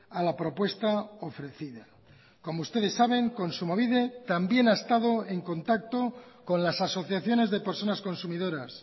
a la propuesta ofrecida como ustedes saben kontsumobide también ha estado en contacto con las asociaciones de personas consumidoras